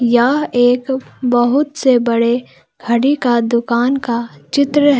यह एक बहुत से बड़े घड़ी का दुकान का चित्र--